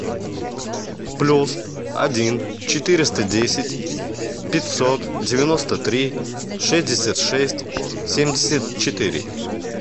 плюс один четыреста десять пятьсот девяносто три шестьдесят шесть семьдесят четыре